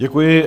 Děkuji.